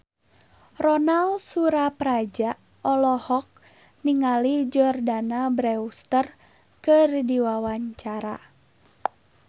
Ronal Surapradja olohok ningali Jordana Brewster keur diwawancara